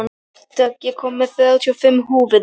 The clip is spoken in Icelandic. Dögg, ég kom með þrjátíu og fimm húfur!